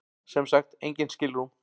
Sem sagt engin skilrúm.